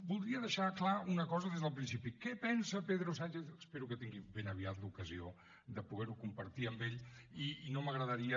voldria deixar clara una cosa des del principi què pensa pedro sánchez espero que pugui tenir ben aviat l’ocasió de poder ho compartir amb ell i no m’agradaria